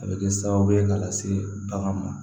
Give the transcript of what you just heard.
A bɛ kɛ sababu ye k'a lase bagan ma